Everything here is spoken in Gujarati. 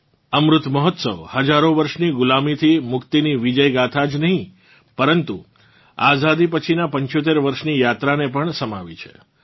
અમૃત મહોત્સવ હજારો વર્ષોંની ગુલામીથી મુક્તિની વિજય ગાથા જ નહીં પરંતુ આઝાદી પછીનાં 75 વર્ષોંની યાત્રાને પણ સમાવી છે